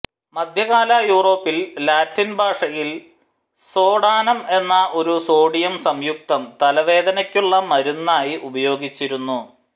മധ്യകാല യുറോപ്പിൽ ലാറ്റിൻ ഭാഷയിൽ സോഡാനം എന്ന ഒരു സോഡിയം സംയുക്തം തലവേദനക്കുള്ള മരുന്നായി ഉപയോഗിച്ചിരുന്നു